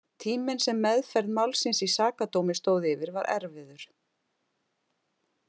Tíminn sem meðferð málsins í Sakadómi stóð yfir var erfiður.